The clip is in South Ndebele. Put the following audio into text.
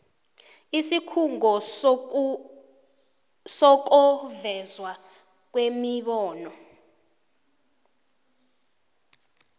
isikhungo sokuvezwa kwemibono